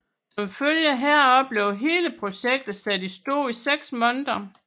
Som følge heraf blev hele projektet sat i stå i seks måneder